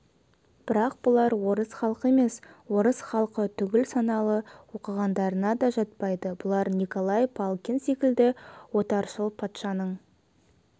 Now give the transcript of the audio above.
бірақ бұлар орыс халқы емес орыс халқы түгіл саналы оқығандарына да жатпайды бұлар николай палкин секілді отаршыл патшаның